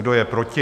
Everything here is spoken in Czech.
Kdo je proti?